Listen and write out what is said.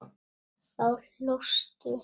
Þá hlóstu.